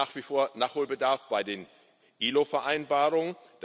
Es gibt nach wie vor Nachholbedarf bei den ILO Vereinbarungen.